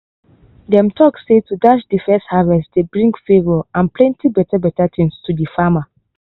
dem tok say to dash de first harvest dey bring favour and plenty beta beta things t de farmer.